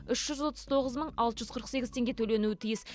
үш жүз отыз тоғыз мың алты жүз қырық сегіз теңге төленуі тиіс